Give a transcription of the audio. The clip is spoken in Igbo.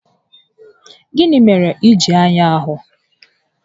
Gịnị mere iji arịa ahụ?